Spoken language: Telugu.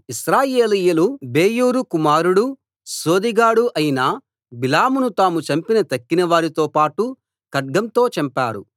ఇశ్రాయేలీయులు బెయోరు కుమారుడు సోదెగాడు అయిన బిలామును తాము చంపిన తక్కిన వారితో పాటు ఖడ్గంతో చంపారు